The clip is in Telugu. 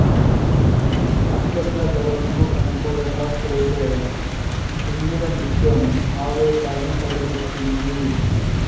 తప్పెట్ల దరువుకు అనుకూలంగా చేసే చిందుల నృత్యం ఆవేశాన్ని కలిగిస్తుంది